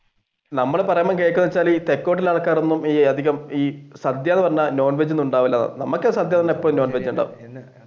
സദ്യ എന്ന് പറഞ്ഞാൽ non veg ഒന്നും ഉണ്ടാവൂല നമുക്ക് സദ്യ എന്ന് പറഞ്ഞാൽ എപ്പഴും non veg ഉണ്ടാവും.